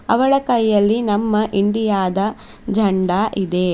ಅವಳ ಕೈಯಲ್ಲಿ ನಮ್ಮ ಇಂಡಿಯಾ ದ ಜೆಂಡಾ ಇದೆ.